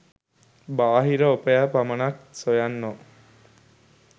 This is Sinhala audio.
බාහිර ඔපය පමණක් සොයන්නෝ